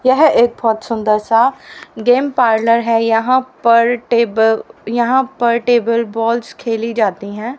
यह एक बहोत सुंदर सा गेम पार्लर है यहां पर टेब यहां पर टेबल बॉल्स खेली जाती है।